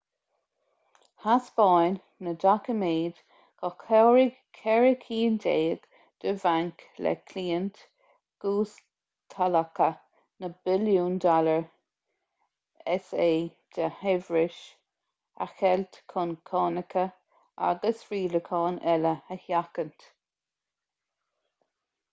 thaispeáin na doiciméid gur chabhraigh ceithre cinn déag de bhainc le cliaint ghustalacha na billiúin dollar sa de shaibhreas a cheilt chun cánacha agus rialacháin eile a sheachaint